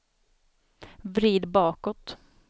vrid bakåt